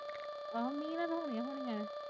ਗਾਹ ਮੀਂਹ ਦਿਖਾਉਣੀ ਹਾਂ ਮੈਂ।